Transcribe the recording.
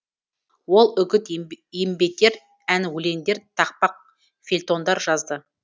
ол үгіт еңбетер ән өлеңдер тақпақ фельтондар жазды